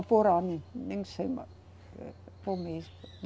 Ou por ano, nem sei mais, por mês.